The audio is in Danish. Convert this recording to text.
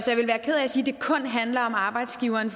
sige at det kun handler om arbejdsgiveren